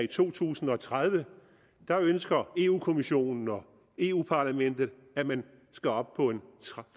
to tusind og tredive ønsker europa kommissionen og eu parlamentet at man skal op på en